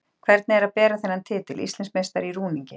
Hvernig er að bera þennan titil: Íslandsmeistari í rúningi?